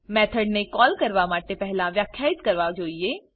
method ને call કરવા માટે પહેલાં વ્યાખ્યાયિત કરવા જોઇએ